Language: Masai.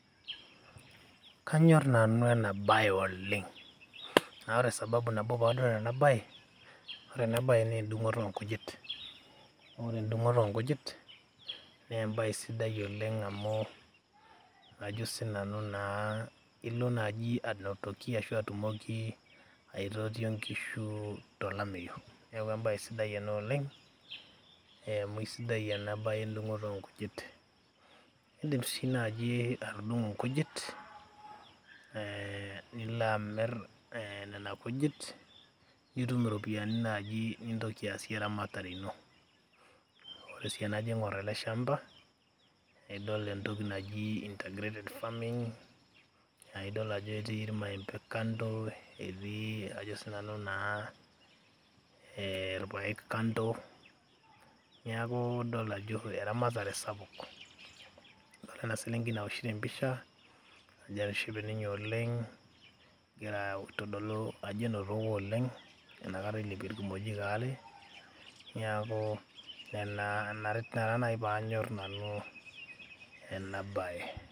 kanyorr nanu ena baye oleng naa ore sababu nabo paanyorr ena baye, ore ena baye naa endung'oto onkujit naa ore endung'oto onkujit naa embaye sidai oleng amu ajo sinanu naa ilo naaji anotoki ashu atumoki aitotio nkishu tolameyu neeku embaye sidai ena oleng amu eh, amu isidai ena baye endung'oto onkujit indim sii naaji atudung'o nkujit eh, nilo amirr nena kujit nitum iropiyiani naaji nintoki aasie eramatare ino ore sii enajo aing'orr ele shamba eidol entoki naji intergrated farming aidol ajo etii irmaembe kando etii ajo sinanu naa eh, irpayek kando niaku idol ajo eramatare sapuk adolta ena selenkei naoshito empisha ajo etishipe ninye oleng egira aitodolu ajo enotoko oleng enakata ilepie irkimojik aare niaku nena ina taa naaji panyorr nanu ena baye.